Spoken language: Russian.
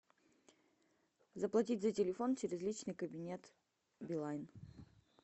заплатить за телефон через личный кабинет билайн